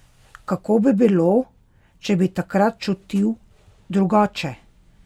Kako bi bilo, če bi takrat čutil drugače?